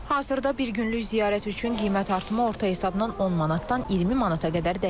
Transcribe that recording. Hazırda bir günlük ziyarət üçün qiymət artımı orta hesabdan 10 manatdan 20 manata qədər dəyişir.